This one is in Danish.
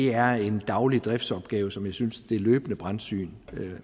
er en daglig driftsopgave som jeg synes det løbende brandsyn